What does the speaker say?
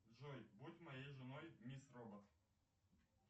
джой будь моей женой мисс робот